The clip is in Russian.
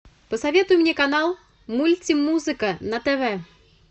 посоветуй мне канал мультимузыка на тв